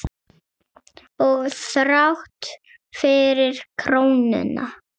Og þrátt fyrir krónuna?